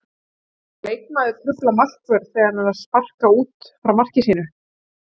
Má leikmaður trufla markvörð þegar hann er að sparka út frá marki sínu?